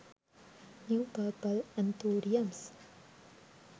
new purple anthuriums